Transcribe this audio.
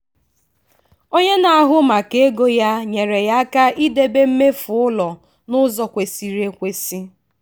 onye na-ahụ maka ego ya nyere ya aka idebe mmefu ụlọ n'ụzọ kwesịrị ekwesị